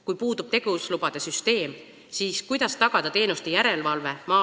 Kui puudub tegevuslubade süsteem, siis kuidas tagada teenuste järelevalve?